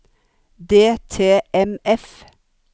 DTMF